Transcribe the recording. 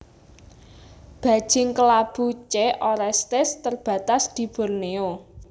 Bajing kelabu C orestes terbatas di Borneo